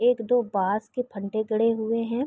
एक दो बाँस के फंदे गड़े हुए है।